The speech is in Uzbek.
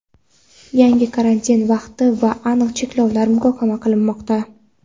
yangi karantin vaqti va aniq cheklovlar muhokama qilinmoqda.